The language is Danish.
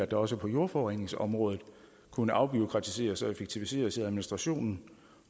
også på jordforureningsområdet kunne afbureaukratiseres og effektiviseres i administrationen